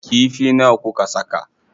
Kifi nawa kuka saka?